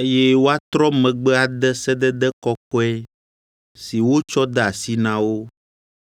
eye woatrɔ megbe ade sedede kɔkɔe si wotsɔ de asi na wo.